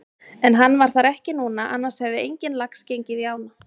En hann var þar ekki núna annars hefði enginn lax gengið í ána.